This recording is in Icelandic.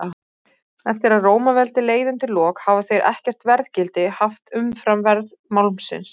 Eftir að Rómaveldi leið undir lok hafa þeir ekkert verðgildi haft umfram verð málmsins.